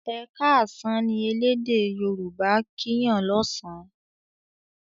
"e káàsán" ní ẹlẹdẹ yoruba' kín Yàn lọsan